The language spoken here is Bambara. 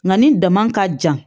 Nka nin dama ka jan